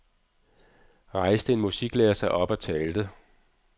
Rejste en musiklærer sig op og talte.